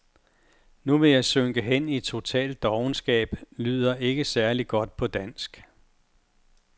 Nu vil jeg synke hen i total dovenskab, lyder ikke særlig godt på dansk.